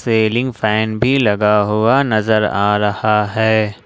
Railing fan भी लगा हुआ नजर आ रहा है।